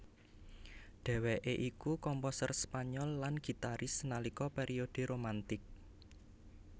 Dheweké iku komposer Spanyol lan gitaris nalika periode Romantic